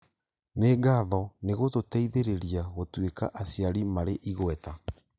Nĩ ngatho nĩgũtũteithĩrĩria gũtuĩka aciari marĩ igweta